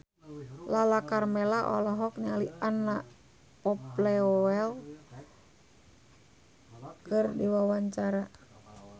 Lala Karmela olohok ningali Anna Popplewell keur diwawancara